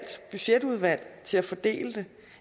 budgetudvalg til at fordele det